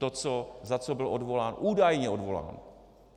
To, za co byl odvolán, údajně odvolán.